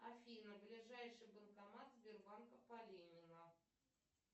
афина ближайший банкомат сбербанка по ленина